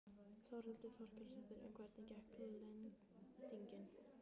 Þórhildur Þorkelsdóttir: En hvernig gekk lendingin?